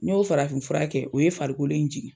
N y'o farafin fura kɛ, o ye farikolo in jigin.